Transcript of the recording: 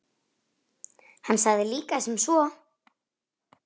Hann sagði líka sem svo